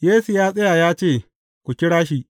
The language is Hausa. Yesu ya tsaya ya ce, Ku kira shi.